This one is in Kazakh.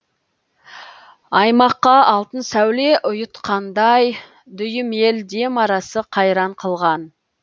аймаққа алтын сәуле ұйытқандай дүйім ел дем арасы қайран қылған